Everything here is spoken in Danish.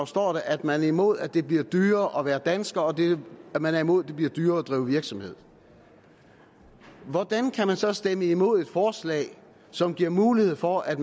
står der at man er i mod at det bliver dyrere at være dansker og at man er imod at det bliver dyrere at drive virksomhed hvordan kan man så stemme imod et forslag som giver mulighed for at